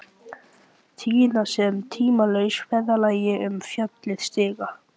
Týna sér á tímalausa ferðalagi um fjalir og stiga.